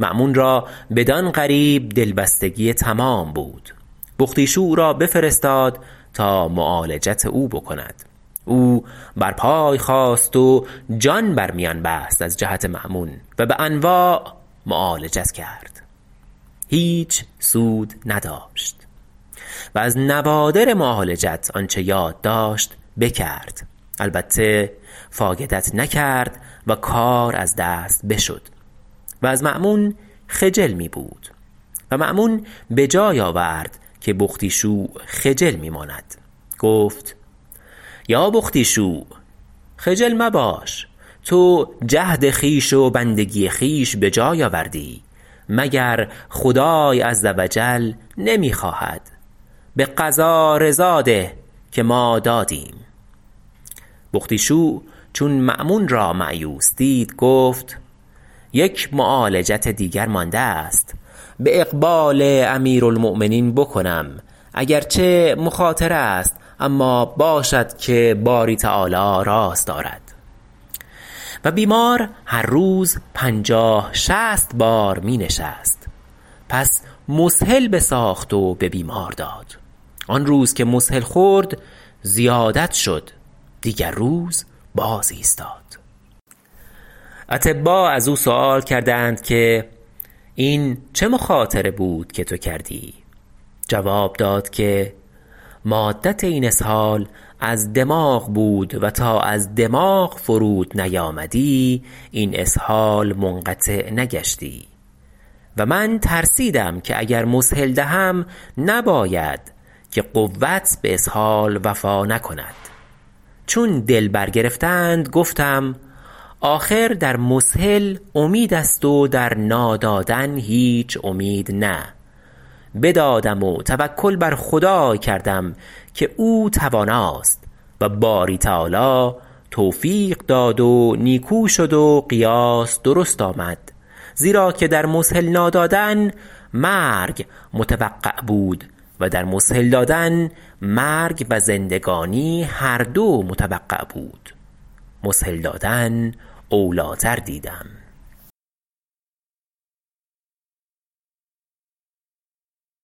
مأمون را بدان قریب دلبستگی تمام بود بختیشوع را بفرستاد تا معالجت او بکند او بر پای خاست و جان بر میان بست از جهت مأمون و به انواع معالجت کرد هیچ سود نداشت و از نوادر معالجت آنچه یاد داشت بکرد البته فایدت نکرد و کار از دست بشد و از مأمون خجل می بود و مأمون به جای آورد که بختیشوع خجل می ماند گفت یا بختیشوع خجل مباش تو جهد خویش و بندگی خویش به جای آوردی مگر خدای عز و جل نمی خواهد به قضا رضا ده که ما دادیم بختیشوع چون مأمون را مأیوس دید گفت یک معالجت دیگر مانده است به اقبال امیرالمؤمنین بکنم اگر چه مخاطره است اما باشد که باری تعالی راست آرد و بیمار هر روز پنجاه شصت بار می نشست پس مسهل بساخت و به بیمار داد آن روز که مسهل خورد زیادت شد دیگر روز باز ایستاد اطبا از او سؤال کردند که این چه مخاطره بود که تو کردی جواب داد که مادت این اسهال از دماغ بود و تا از دماغ فرود نیامدی این اسهال منقطع نگشتی و من ترسیدم که اگر مسهل دهم نباید که قوت به اسهال وفا نکند چون دل بر گرفتند گفتم آخر در مسهل امید است و در نا دادن هیچ امید نه بدادم و توکل بر خدای کردم که او تواناست و باری تعالی توفیق داد و نیکو شد و قیاس درست آمد زیرا که در مسهل نا دادن مرگ متوقع بود و در مسهل دادن مرگ و زندگانی هر دو متوقع بود مسهل دادن اولیتر دیدم